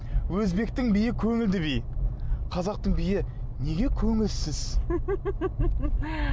өзбектің биі көңілді би қазақтың биі неге көңілсіз